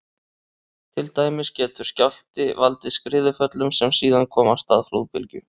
Til dæmis getur skjálfti valdið skriðuföllum sem síðan koma af stað flóðbylgju.